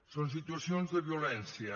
són situacions de violència